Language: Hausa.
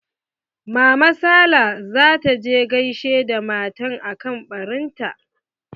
Mama sala za ta je gaishe da matan akan ɓarin ta.